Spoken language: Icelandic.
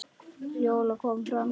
Fjóla kom fram í gang.